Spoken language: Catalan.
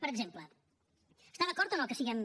per exemple està acord o no que siguem